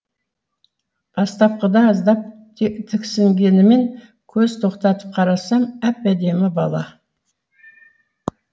бастапқыда аздап тіксінгеніммен көз тоқтатып қарасам әп әдемі бала